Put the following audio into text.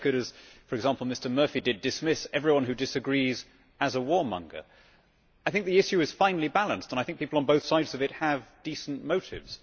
I wish I could, as for example Mr Murphy did, dismiss everyone who disagrees as a warmonger. I think the issue is finely balanced and I think people on both sides of it have decent motives.